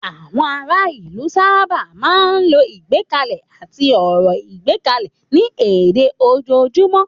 Àwọn ará ìlú sábà máa ń lo ìgbékalẹ̀ àti ọ̀rọ̀ ìgbékalẹ̀ ní èdè ojoojúmọ́.